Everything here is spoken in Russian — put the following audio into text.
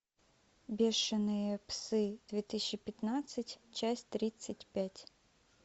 бешеные псы две тысячи пятнадцать часть тридцать пять